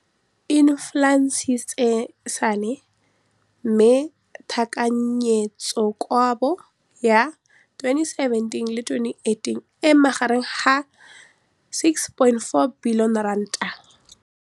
Infleišene, mme tekanyetsokabo ya 2017, 18, e magareng ga R6.4 bilione.